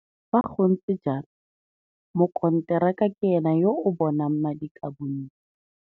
Fa go ntse jalo, mokonteraka ke ene yo a bonang madi ka bontsi.